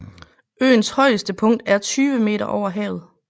Øens højeste punkt er 20 meter over havet